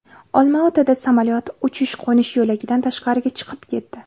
Olmaotada samolyot uchish-qo‘nish yo‘lagidan tashqariga chiqib ketdi.